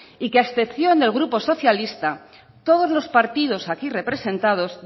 y que a excepción del grupo socialista todos los partido aquí representados